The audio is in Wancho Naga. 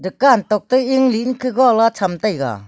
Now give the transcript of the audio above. ga tok toh enli an khe ga ley tham taiga.